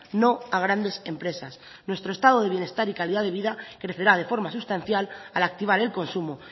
no a grandes empresas nuestro estado de bienestar y calidad de vida crecerá de forma sustancial al activar el consumo